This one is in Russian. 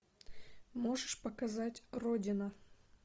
можешь показать родина